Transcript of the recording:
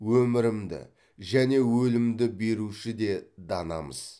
өмірімді және өлімді беруші де данамыз